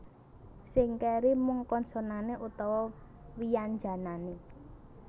Sing kéri mung konsonané utawa wyanjanané